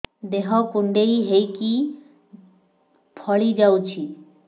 ଦେହ କୁଣ୍ଡେଇ ହେଇକି ଫଳି ଯାଉଛି